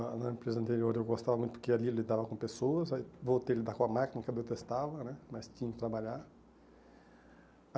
Lá na empresa anterior eu gostava muito porque ali eu lidava com pessoas, aí voltei a lidar com a máquina que eu detestava né, mas tinha que trabalhar.